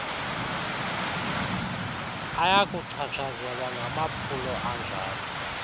ayakuchatshazelwa ngamaphulo anjalo